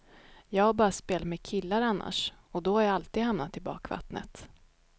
Jag har bara spelat med killar annars, och då har jag alltid hamnat i bakvattnet.